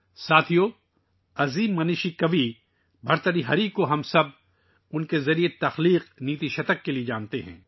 دوستو، ہم سب عظیم بابا شاعر بھرتری ہری کو ان کے ' نیتی شتک ' کے لئے جانتے ہیں